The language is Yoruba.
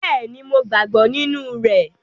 Bẹ́ẹ̀ni, Mo gbàgbọ́ nínú rẹ̀